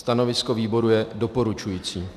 Stanovisko výboru je doporučující.